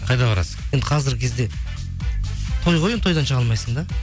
қайда барасың енді қазіргі кезде той ғой тойдан шыға алмайсың да